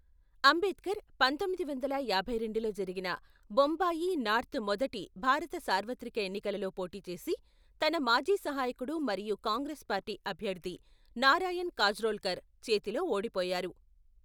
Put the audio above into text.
అంబేద్కర్ పంతొమ్మిది వందల యాభై రెండులో జరిగిన, బొంబాయి నార్త్ మొదటి భారత సార్వత్రిక ఎన్నికలలో పోటీ చేసి, తన మాజీ సహాయకుడు మరియు కాంగ్రెస్ పార్టీ అభ్యర్థి నారాయణ్ కాజ్రోల్కర్ చేతిలో ఓడిపోయారు.